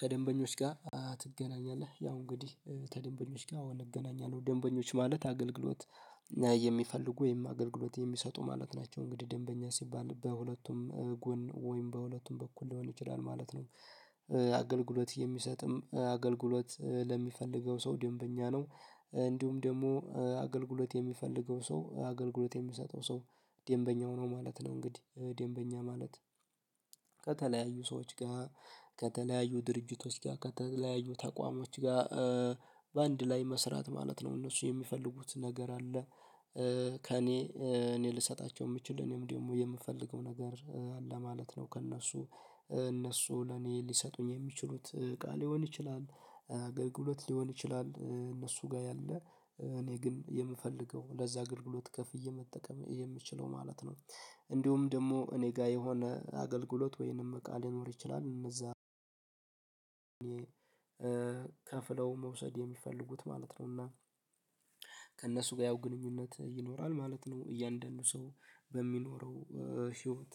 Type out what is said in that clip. ከደንበኞች ጋር ትገናኛለህ ያው እንግዲህ ከደንበኞች ጋር አወ እገናኛለሁ ደንበኞች ማለት አገልግሎት የሚፈልጉ ወይም አገልግሎት የሚሰጡ ማለት ናቸው እንግዲህ ደንበኛ ሲባል በሁለቱም ጎን ወይም በሁለቱም በኩል ሊሆን ይችላል ማለት ነው። አገልግሎት የሚሰጥም አገልግሎት ለሚፈልገው ሰው ደንበኛ ነው። እንዲሁም ደግሞ አገልግሎት የሚፈልገው ሰው አገልግሎት የሚሰጠው ሰው ደንበኛው ነው ማለት ነው። እንግዲህ ደንበኛ ማለት ከተለያዩ ሰዎች ጋር ከተለያዩ ድርጅቶች ጋር ከተለያዩ ተቋማት ጋር በአንድ ላይ መስራት ማለት ነው እነሱ የሚፈልጉት ነገር አለ። ከእኔ እኔ ልሰጣቸው የምችል እኔም ደግሞ የምፈልገው ነገር አለ ማለት ነው። ከእነሱ እነሱ ለኔ ሊሰጡኝ የሚችሉት እቃ ሊሆን ይችላል አገልግሎት ሊሆን ይችላል እነሱ ጋር ያለ እኔ ግን የምፈልገው ለዛ አገልግሎት ከፍዬ መጠቀም የምችለው ማለት ነው። እንዲሁም ደግሞ እኔ ጋር የሆነ አገልግሎት ወይንም እቃ ሊኖር ይችላል እነዛ ከፍለው መውሰድ የሚፈልጉት ማለት ነው። እና ከእነሱ ጋር ያው ግንኙነት ይኖራል ማለት ነው። እያንዳንዱ ሰው በሚኖረው ህይወት